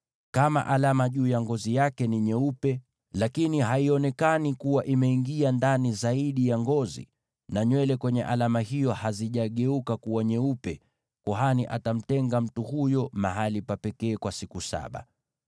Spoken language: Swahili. Kama alama juu ya ngozi yake ni nyeupe, lakini haionekani kuwa imeingia ndani zaidi ya ngozi, na nywele kwenye alama hiyo hazijageuka kuwa nyeupe, kuhani atamtenga mtu huyo mahali pa pekee kwa siku saba.